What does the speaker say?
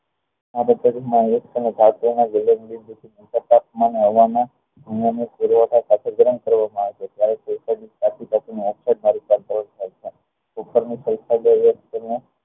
આ પદ્ધતિ માં ગલન બિંદુ થી નીકળતા તાપમાન ની હવા ના